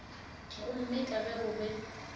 gomme ka ge go be